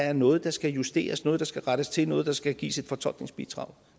er noget der skal justeres noget der skal rettes til noget der skal gives et fortolkningsbidrag